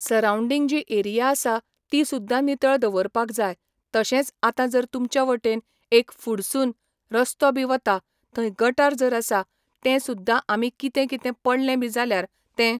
सरांवडींग जी एरिया आसा ती सुद्दां नितळ दवरपाक जाय तशेंच आता जर तुमच्या वटेन एक फुडसून रस्तो बी वता थंय गटार जर आसा तें सुद्दां आमी कितें कितें पडलें बी जल्यार तें